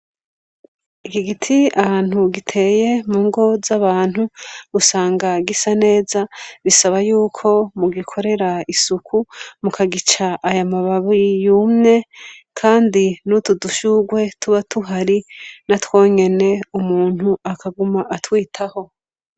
Iki giti ahantu giteye mu ngo z'abantu usanga gisa neza. Bisaba yuko mugikorera isuku mukagica aya mababi yumye kandi n'utu dushurwe tuba tuhari natwo nyene umuntu akaguma atwitaho.